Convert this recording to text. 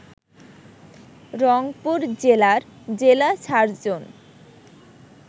রংপুর জেলার জেলা সার্জন